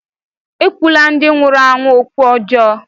Ekwula ndị nwụrụ anwụ okwu ọjọọ!